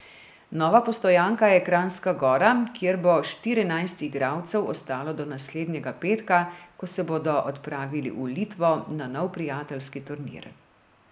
Nova postojanka je Kranjska Gora, kjer bo štirinajst igralcev ostalo do naslednjega petka, ko se bodo odpravili v Litvo na nov prijateljski turnir.